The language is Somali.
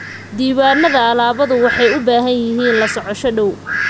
Diiwaanada alaabadu waxay u baahan yihiin la socosho dhow.